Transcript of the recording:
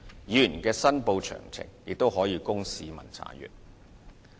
議員的申報詳情亦可供市民查閱。